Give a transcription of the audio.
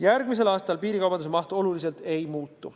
Järgmisel aastal piirikaubanduse maht oluliselt ei muutu.